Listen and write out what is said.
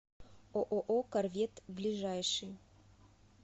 ооо корвет ближайший